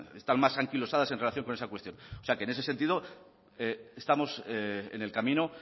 están más anquilosadas en relación con esa cuestión o sea que en ese sentido estamos en el camino